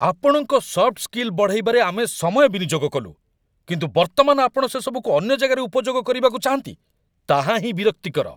ଆପଣଙ୍କ soft skill ବଢ଼ାଇବାରେ ଆମେ ସମୟ ବିନିଯୋଗ କଲୁ, କିନ୍ତୁ ବର୍ତ୍ତମାନ ଆପଣ ସେସବୁକୁ ଅନ୍ୟ ଜାଗାରେ ଉପଯୋଗ କରିବାକୁ ଚାହାଁନ୍ତି? ତାହା ହିଁ ବିରକ୍ତିକର।